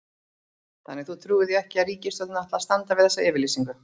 Þannig að þú trúir því ekki að ríkisstjórnin ætli að standa við þessa yfirlýsingu?